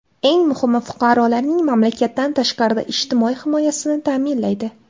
Eng muhimi, fuqarolarning mamlakatdan tashqarida ijtimoiy himoyasini ta’minlaydi.